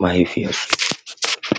makaranta.